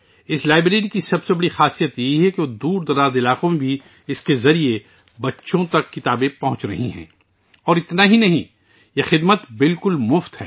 اس library کی سب سے بڑی خصوصیت یہ ہے کہ انتہائی ناقابل رسائی علاقوں میں بھی اس کے ذریعے بچوں تک کتابیں پہنچ رہی ہیں اور یہی نہیں یہ سروس بالکل مفت ہے